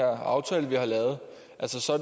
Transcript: aftale vi har lavet